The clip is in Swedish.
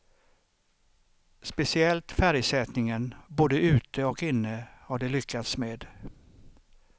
Speciellt färgsättningen, både ute och inne, har de lyckats med.